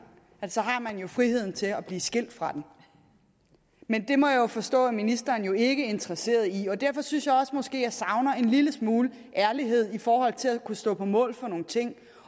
at så har man jo friheden til at blive skilt fra den men det må jeg jo forstå at ministeren ikke interesseret i derfor synes jeg måske jeg savner en lille smule ærlighed i forhold til at kunne stå på mål for nogle ting